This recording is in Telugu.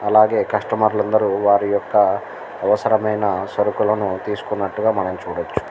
అలాగే కస్టమర్ లు అందరు వారియొక్క అవసరమైన సరుకులను తీసుకునట్టుగా మనం చుడవ్వచు --